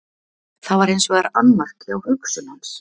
Það var hins vegar annmarki á hugsun hans.